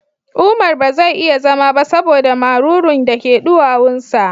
Umar ba zai iya zama ba saboda marurun da ke duwawun sa